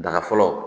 Daga fɔlɔ